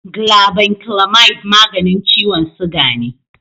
Glabanclamide maganin ciwon siga ne.